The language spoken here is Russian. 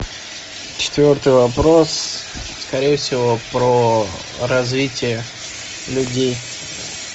четвертый вопрос скорее всего про развитие людей